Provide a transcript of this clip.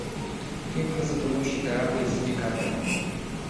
фильм про затонувший корабль с ди каприо